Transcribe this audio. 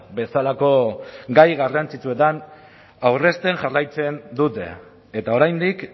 bezalako gai garrantzitsuetan aurrezten jarraitzen dute eta oraindik